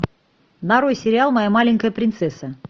нарой сериал моя маленькая принцесса